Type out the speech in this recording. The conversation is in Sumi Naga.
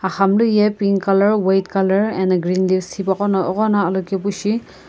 aghamlu ye pink colour white colour ano green leaves eghono alokaepu shi.